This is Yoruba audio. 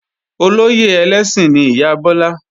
Olóyè ẹlẹ́sìn ni ìyá Bọ́lá